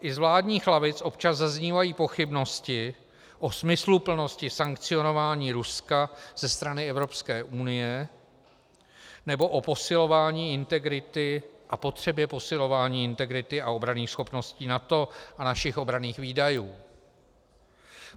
I z vládních lavic občas zaznívají pochybnosti o smysluplnosti sankcionování Ruska ze strany Evropské unie nebo o posilování integrity a potřebě posilování integrity a obranných schopností NATO a našich obranných výdajů.